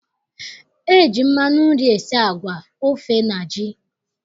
E ji mmanụ nri esi agwa, ofe na ji.